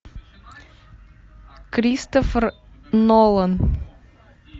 кристофер нолан